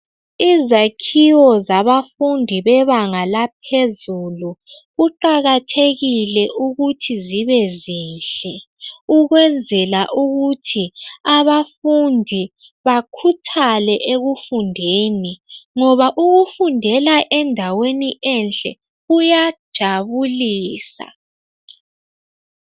Izakhiwo zabafundi bebanga laphezulu kuqakathekile ukuthi zibe zinhle ukwenzela ukuthi abafundi bakhuthale ekufundeni ngoba ukufundela endaweni enhle kuyajabulisa.